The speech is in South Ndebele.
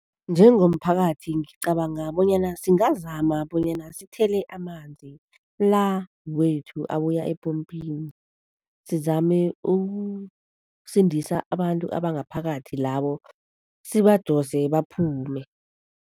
Njengomphakathi ngicabanga bonyana singazama bonyana sithele amanzi la wethu abuya epompini, sizame ukusindisa abantu abangaphakathi labo, sibadose baphume.